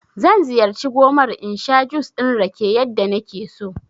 Zan ziyarci gomar in sha jus ɗin rake yadda nake so